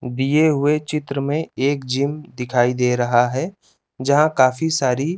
दिए गये चित्र में एक जिन दिखाई दे रहा हे जा काफी सारी --